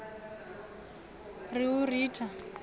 ri u i ritha wa